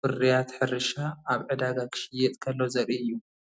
ፍርያት ሕርሻ ኣብ ዕዳጋ ክሽየጥ ከሎ ዘርኢ እዩ።